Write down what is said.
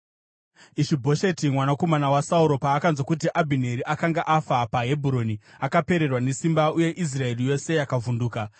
Ishi-Bhosheti mwanakomana waSauro paakanzwa kuti Abhineri akanga afa paHebhuroni, akapererwa nesimba, uye Israeri yose yakavhunduka.